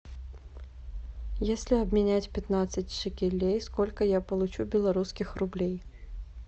если обменять пятнадцать шекелей сколько я получу белорусских рублей